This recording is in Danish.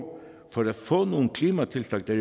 for at få nogle klimatiltag der